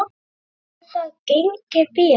Hefur það gengið vel?